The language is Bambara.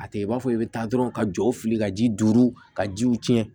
A tɛ i b'a fɔ i bɛ taa dɔrɔn ka jɔw fili ka ji duuru ka jiw tiɲɛ